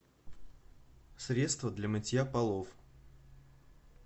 средство для мытья полов